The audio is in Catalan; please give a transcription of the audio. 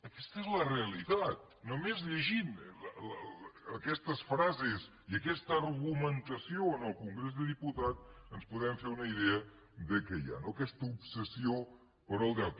aquesta és la realitat només llegint aquestes frases i aquesta argumentació en el congrés dels diputats ens podem fer una idea de què hi ha no aquesta obsessió pel deute